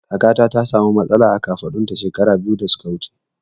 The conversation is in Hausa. Kakana ta sa mu matsala a kafaɗun ta shekara biyu da suka wuce